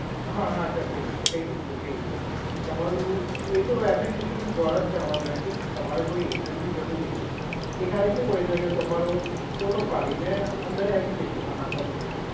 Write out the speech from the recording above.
હા હા, થશે. થઈ જશે, થઈ જશે. તમારું એ તો એપ્લિકેશન દ્વારા જ કરવાનું રહેશે. તો તમારે કોઈ એજન્ટની જરૂર નહીં રહે. એ ખાલી કેવું હોય છે કે તમારો ફોટો પાડીને અંદર એપ્લિકેશનમાં નાખવાનું છે.